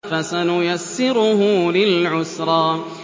فَسَنُيَسِّرُهُ لِلْعُسْرَىٰ